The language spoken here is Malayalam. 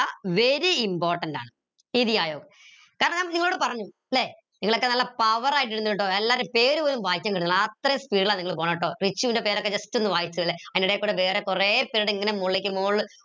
very important ആണ് കാരണം നിങ്ങളോട് പറഞ്ഞു ല്ലെ നിങ്ങളൊക്കെ നല്ല power ആയിട്ടിണ്ട് ട്ടോ എല്ലാരെയും പേരുപോലും വായിക്കാൻ കിട്ടണില്ല അത്രെയും speed ല നിങ്ങൾ പോണേ ട്ടോ റിച്ചുൻറെ പേരൊക്ക just ഒന്ന് വായിച്ചേ ഇള്ളു അതിന്റെയിടെ കൂടെ വേറെ കൊറേ പേരുടെ ഇങ്ങനെ മോളിലേക്ക് മോള്